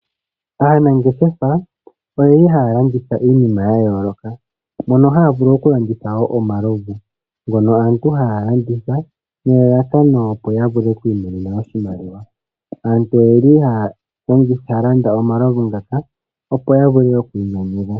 Aanangeshefa oye li haya landitha iinima ya yooloka mono haya landitha wo omalovu ngono aantu haya landitha nelalakano opo ya vule oku imonena oshimaliwa. Aantu oye li haya landa omalovu ngaka, opo ya vule oku inyanyudha.